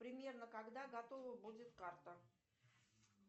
примерно когда готова будет карта